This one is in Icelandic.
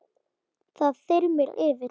Það þyrmir yfir.